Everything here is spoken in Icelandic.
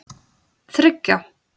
þriggja